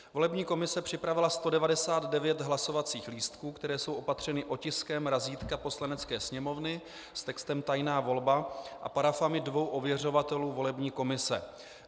Volební komise připravila 199 hlasovacích lístků, které jsou opatřeny otiskem razítka Poslanecké sněmovny s textem tajná volba a parafami dvou ověřovatelů volební komise.